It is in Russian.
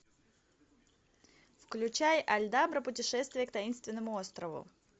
включай альдабра путешествие к таинственному острову